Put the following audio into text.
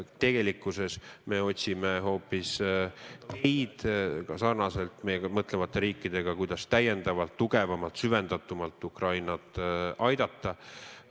Tegelikkuses me otsime hoopis meiega sarnaselt mõtlevate riikidega koos, kuidas täiendavalt, tugevamalt, süvendatumalt Ukrainat aidata.